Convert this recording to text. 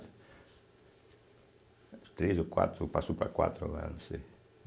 É três ou quatro, passou para quatro agora, não sei.